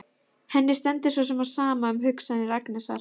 Henni stendur svo sem á sama um hugsanir Agnesar.